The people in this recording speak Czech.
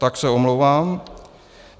Tak se omlouvám.